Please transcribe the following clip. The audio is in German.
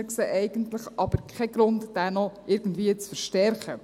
Wir sehen aber eigentlich keinen Grund, diesen noch irgendwie zu verstärken.